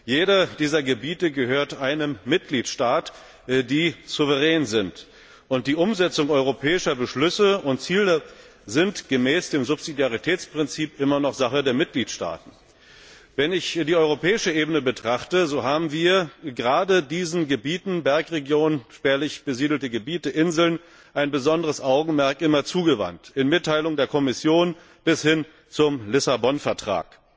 Jedes dieser Gebiete gehört einem Mitgliedstaat, der souverän ist. Und die Umsetzung europäischer Beschlüsse und Ziele ist gemäß dem Subsidiaritätsprinzip immer noch Sache der Mitgliedstaaten. Wenn ich die europäische Ebene betrachte, so haben wir gerade diesen Gebieten Bergregionen, spärlich besiedelten Gebieten, Inseln immer ein besonderes Augenmerk zugewandt, in Mitteilungen der Kommission bis hin zum Lissabon Vertrag.